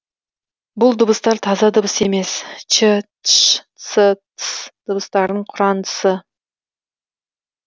бұл дыбыстар таза дыбыс емес ч тш ц тс дыбыстарының құрандысы